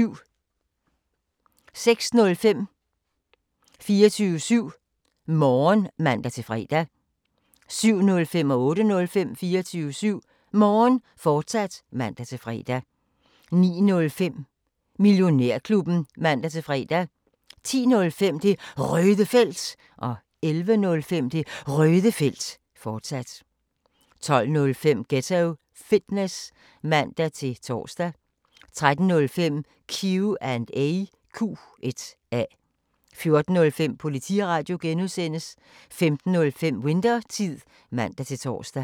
06:05: 24syv Morgen (man-fre) 07:05: 24syv Morgen, fortsat (man-fre) 08:05: 24syv Morgen, fortsat (man-fre) 09:05: Millionærklubben (man-fre) 10:05: Det Røde Felt 11:05: Det Røde Felt, fortsat 12:05: Ghetto Fitness (man-tor) 13:05: Q&A 14:05: Politiradio (G) 15:05: Winthertid (man-tor)